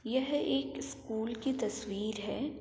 यह एक स्कूल की तस्वीर है।